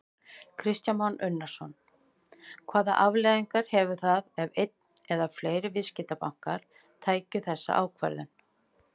Kristján Már Unnarsson: Hvaða afleiðingar hefðu það ef einn eða fleiri viðskiptabankar tækju þessa ákvörðun?